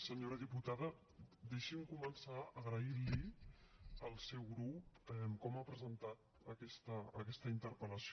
senyora diputada deixi’m començar agraint li al seu grup com ha presentat aquesta interpel·lació